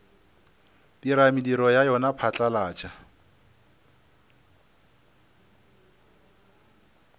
dira mediro ya yona phatlalatša